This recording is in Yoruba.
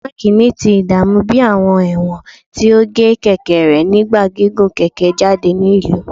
Mark ni ti idaamu bi awọn ẹwọn ti o ge keke rẹ nigba gigun keke jade ni ilu